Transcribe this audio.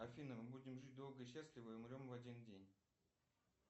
афина мы будем жить долго и счастливо и умрем в один день